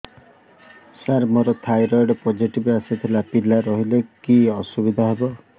ସାର ମୋର thyroid positive ଆସିଥିଲା ପିଲା ରହିଲେ କି ଅସୁବିଧା ହେବ